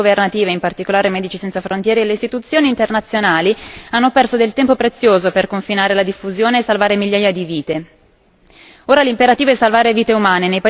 Nonostante gli allarmi giunti tempestivamente dalle associazioni non governative, in particolare Medici senza frontiere, le istituzioni internazionali hanno perso del tempo prezioso per confinare la diffusione e salvare migliaia di vite.